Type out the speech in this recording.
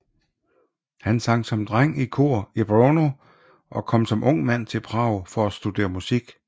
Han sang som dreng i kor i Brno og kom som ung mand til Prag for at studere musik